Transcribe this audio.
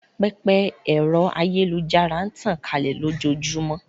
Pẹpẹ ẹ̀rọ ayélujára n tàn kálẹ̀ lójóojúmọ́